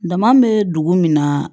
Dama bɛ dugu min na